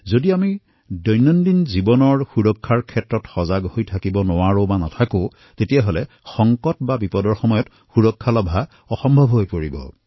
যদি আমি দৈনিক জীৱনত সুৰক্ষা সম্বন্ধে সজান নহও তাক প্ৰাপ্ত কৰিব পৰা নাই তেন্তে বিপদৰ সময়ত ইয়াক প্ৰাপ্ত কৰাটো অসম্ভৱ হৈ পৰে